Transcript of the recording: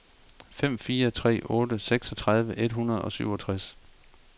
fem fire tre otte seksogtredive et hundrede og syvogtres